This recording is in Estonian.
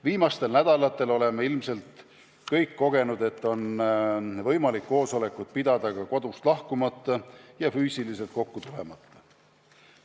Viimastel nädalatel oleme ilmselt kõik kogenud, et on võimalik koosolekut pidada ka kodust lahkumata ja füüsiliselt kokku tulemata.